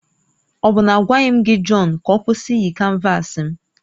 Ọ bụ na agwaghị m gị John ka ọ kwụsị iyi canvasi m?